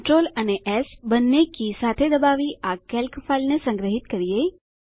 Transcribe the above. CTRL અને S બંને key સાથે દબાવી આ કેલ્ક ફાઈલને સંગ્રહીત કરીએ